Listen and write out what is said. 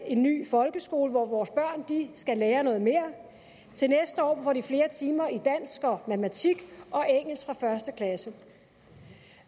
en ny folkeskole hvor vores børn skal lære noget mere til næste år får de flere timer i dansk og matematik og engelsk fra første klasse